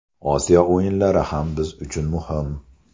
Osiyo o‘yinlari ham biz uchun muhim.